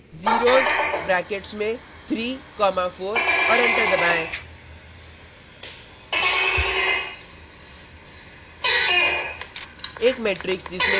zeros brackets में 3 comma 4 और enter दबाएँ